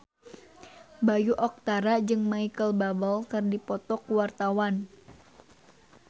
Bayu Octara jeung Micheal Bubble keur dipoto ku wartawan